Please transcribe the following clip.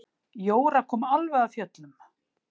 Jóra kom alveg af fjöllum.